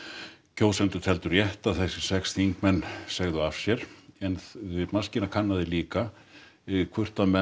kjósendur teldu rétt að þessir sex þingmenn segðu af sér en maskína kannaði líka hvort menn